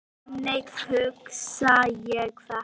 Þannig hugsa ég þetta.